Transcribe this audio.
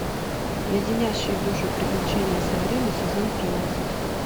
леденящие душу приключения сабрины сезон тринадцать